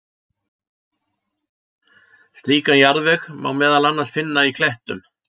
Slíkan jarðveg má meðal annars finna í klettum.